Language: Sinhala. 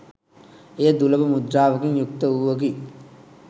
එය දුලබ මුද්‍රාවකින් යුක්ත වූවකි.